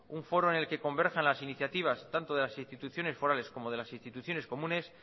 un foro en el que converjan las iniciativas tanto de las instituciones forales como de las instituciones comunes